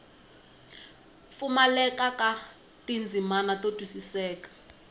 pfumaleka ka tindzimana to twisiseka